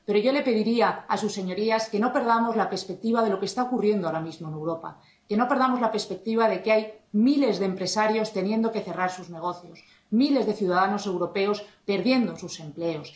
Pero yo les pediría a sus señorías que no perdamos la perspectiva de lo que está ocurriendo ahora mismo en Europa, que no perdamos la perspectiva de que hay miles de empresarios teniendo que cerrar sus negocios, miles de ciudadanos europeos perdiendo sus empleos